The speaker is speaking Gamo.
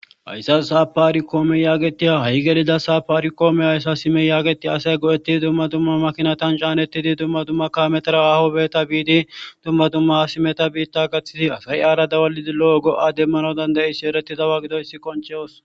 Hayssa saa paari koome yaagetiya ha7i gelida saapaari koome hayssa simey yaagetia asay go7etti dumma dumma makinatan caanettidi dumma dumma kametera ahobeeta biidi dumma dumma simeta biitta gaththidi asayi aara dawalidi lo7o go7a demmano dandayissi ereti dawa gidoyssi koncheyos.